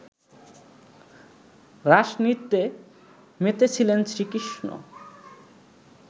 রাসনৃত্যে মেতেছিলেন শ্রীকৃষ্ণ